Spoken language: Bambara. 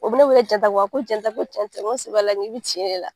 O bɛ ne wele ko Jɛnta ko Jɛnta ko cɛn tɛ n ko sɛbɛ la n k'i bi tiɲɛ ne la.